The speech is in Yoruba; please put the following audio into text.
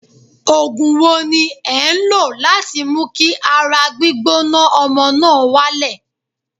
Ògùn wo ni ẹ̀ ń lò láti mú kí ara gbígbóná ọmọ náà wálẹ̀?